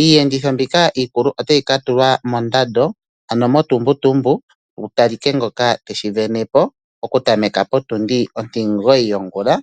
Iiyenditho mbika iikulu ota yi ka tulwa mondambo, ano motumbutumbu ku talike ngoka, te shi venepo oku tameka potindi ontimugoyi yongula.